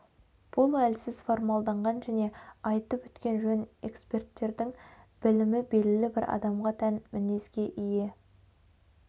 бұл әлсіз формалданған және айтып өткен жөн эксперттердің білімі белгілі бір адамға тән мінезге ие